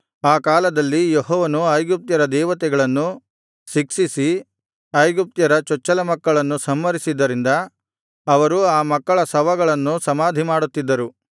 ಆ ಕಾಲದಲ್ಲಿ ಯೆಹೋವನು ಐಗುಪ್ತ್ಯರ ದೇವತೆಗಳನ್ನು ಶಿಕ್ಷಿಸಿ ಐಗುಪ್ತ್ಯರ ಚೊಚ್ಚಲಮಕ್ಕಳನ್ನು ಸಂಹರಿಸಿದ್ದರಿಂದ ಅವರು ಆ ಮಕ್ಕಳ ಶವಗಳನ್ನು ಸಮಾಧಿಮಾಡುತ್ತಿದ್ದರು